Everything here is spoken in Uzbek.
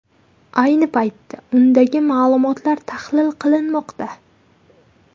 Ayni paytda undagi ma’lumotlar tahlil qilinmoqda.